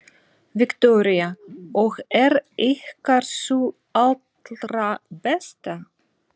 Viktoría: Og er ykkar sú allra besta?